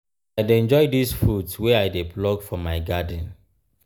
i dey enjoy dese fruits wey i dey pluck from my garden.